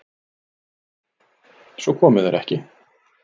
Svo komu þeir ekki.